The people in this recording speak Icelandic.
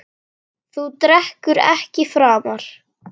Þú drekkur ekki framar.